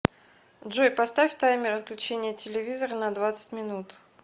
джой поставь таймер отключения телевизора на двадцать минут